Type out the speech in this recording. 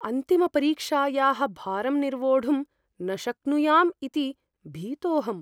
अन्तिमपरीक्षायाः भारं निर्वोढुं न शक्नुयाम् इति भीतोऽहम्।